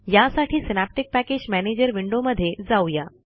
यासाठी synaptic package manager विंडोमधे जाऊ या